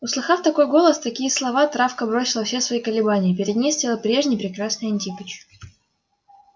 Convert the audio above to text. услыхав такой голос такие слова травка бросила все свои колебания перед ней стоял прежний прекрасный антипыч